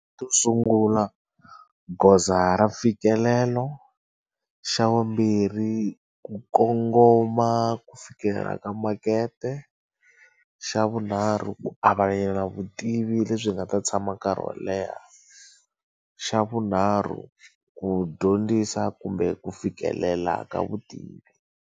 Xo sungula goza ra mfikelelo xa vumbirhi ku kongoma ku fikelela ka makete xa vunharhu ku avelana vutivi lebyi nga ta tshama nkarhi wo leha xa vunharhu ku dyondzisa kumbe ku fikelela ka vutivi.